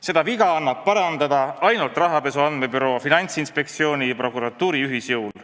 Seda viga annab parandada ainult rahapesu andmebüroo, Finantsinspektsiooni ja prokuratuuri ühisjõul.